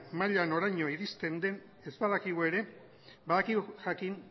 maila noraino iristen den ez badakigu ere badakigu jakin